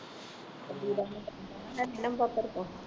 sandeep ਦਾ ਨੰਬਰ ਹੈ ਨਹੀਂ ਤੇਰੇ ਕੋਲ